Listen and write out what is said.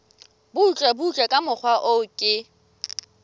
butlebutle ka mokgwa o ke